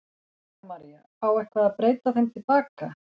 Helga María: Á eitthvað að breyta þeim til baka?